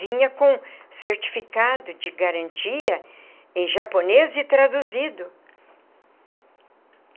Vinha com certificado de garantia em japonês e traduzido.